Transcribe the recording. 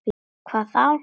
Hvað þá!